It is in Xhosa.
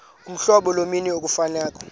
uhlobo lommi ekufuneka